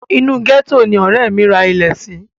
Inú gẹ́tò ni ọ̀rẹ́ mi ra ilẹ̀ sí.